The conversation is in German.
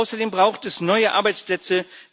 Außerdem braucht es neue Arbeitsplätze.